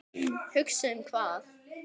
Hugsa um hvað?